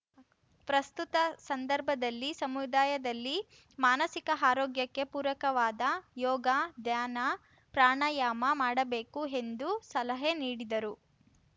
ಪ್ರಸ್ತುತ ಸಂದರ್ಭದಲ್ಲಿ ಸಮುದಾಯದಲ್ಲಿ ಮಾನಸಿಕ ಆರೋಗ್ಯಕ್ಕೆ ಪೂರಕವಾದ ಯೋಗ ಧ್ಯಾನ ಪ್ರಾಣಾಯಾಮ ಮಾಡಬೇಕು ಎಂದು ಸಲಹೆ ನೀಡಿದರು